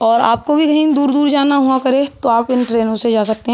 और आपको भी कहीं कहीं दूर-दूर जाना हुआ करे तो आप इन ट्रेनों से जा सकते हैं।